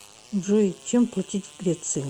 джой чем платить в греции